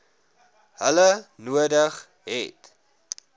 hulle nodig het